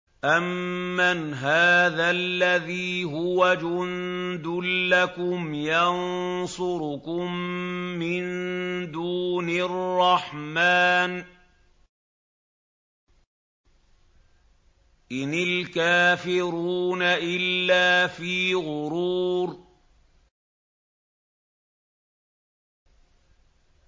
أَمَّنْ هَٰذَا الَّذِي هُوَ جُندٌ لَّكُمْ يَنصُرُكُم مِّن دُونِ الرَّحْمَٰنِ ۚ إِنِ الْكَافِرُونَ إِلَّا فِي غُرُورٍ